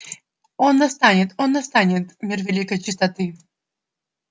он настанет он настанет мир великой чистоты